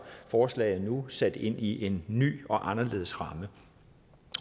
forslaget nu sat ind i en ny og anderledes ramme